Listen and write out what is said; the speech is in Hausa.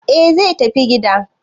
e zai tafi gida